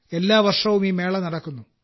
എല്ലാ വർഷവും ഈ മേള നടക്കുന്നു